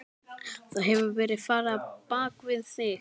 Það hefur verið farið á bak við þig.